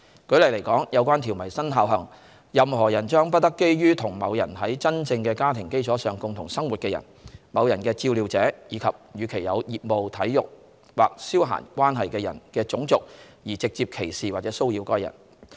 舉例來說，有關條文生效後，任何人將不得基於與某人在真正的家庭基礎上共同生活的人、某人的照料者，以及與其有業務、體育或消閒關係的人的種族，而直接歧視或騷擾該人。